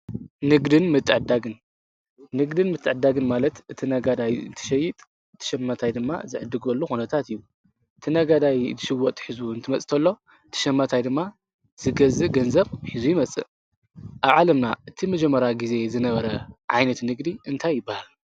ንግድን ምትዕድዳግን ማለት እቲ ነጋዳይ እትሸይጥ ትሸማታይ ድማ ዘዕድጐሉ ኹነታት እዩ፡፡ እቲ ነጋዳይ ትሽወጥ ሒዙ እንትመፅተሎ ትሸመታይ ድማ ዝገዝእ ገንዘብ ሒዙ ይመጽእ እዩ፡፡ ኣብ ዓለምና እቲ መጀመራ ጊዜ ዝነበረ ዓይነት ንግዲ እንታይ ይበሃል?